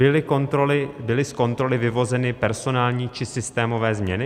Byly z kontroly vyvozeny personální či systémové změny?